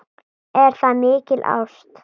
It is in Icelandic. Er það mikil ást?